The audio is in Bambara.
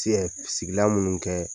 Tiyɛ sigila munnu bi kɛ